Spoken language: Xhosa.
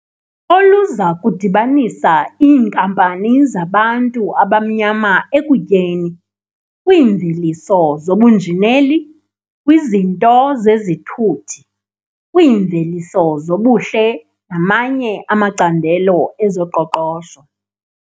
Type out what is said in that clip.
olu za kudibanisa iinkampani zabantu abanyama ekutyeni, kwiimveliso zobunjineli, kwizinto zezithuthi, kwiimveliso zobuhle namanye amacandelo ezoqoqosho.